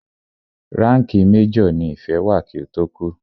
Ránkìì major ní Ìfẹ́ wà kí ó tó kú.